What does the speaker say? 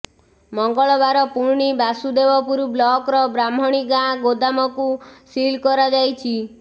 ମଙ୍ଗଳବାର ପୁଣି ବାସୁଦେବପୁର ବ୍ଲକର ବ୍ରାହ୍ମଣୀଗାଁ ଗୋଦାମକୁ ସିଲ କରାଯାଇଛି